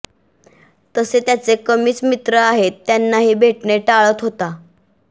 तसे त्याचे कमीच मित्र आहेत त्यांनाही भेटणे टाळत होता